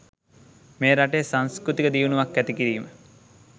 මෙ රටේ සංස්කෘතික දියුණුවක් ඇති කිරීම